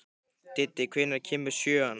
Diddi, hvenær kemur sjöan?